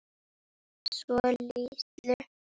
Svo litlu.